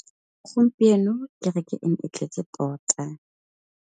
Gompieno kêrêkê e ne e tletse tota.